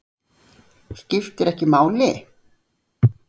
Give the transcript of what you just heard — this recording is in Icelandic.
Skiptir ekki máli?